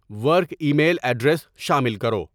work email address شامل کرو